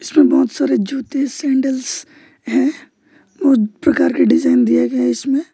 इसमें बहुत सारे जूते सैंडल्स है बहुत प्रकार के डिजाइन दिए गए इसमें।